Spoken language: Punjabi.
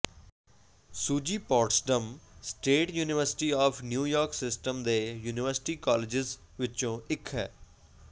suji Potsdam state university of New York system ਦੇ ਯੂਨੀਵਰਸਿਟੀ ਕਾਲਜਿਜ਼ ਵਿੱਚੋਂ ਇਕ ਹੈ